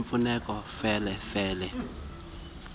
lifumaneka fele fele